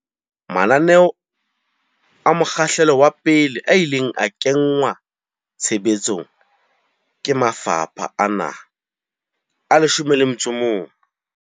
Mananeo a mokgahlelo wa pele a ile a kenngwa tshe betsong ke mafapha a naha a 11.